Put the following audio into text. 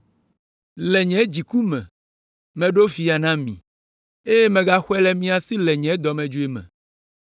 Le nye dziku me, meɖo fia na mi, eye megaxɔe le mia si le nye dɔmedzoe me.